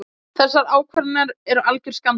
Þessar ákvarðanir eru algjör skandall.